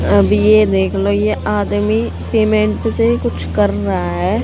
अब ये देख लो ये आदमी सीमेंट से कुछ कर रहा है।